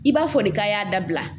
I b'a fɔ de k'a y'a dabila